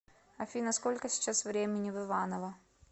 афина сколько сейчас времени в иваново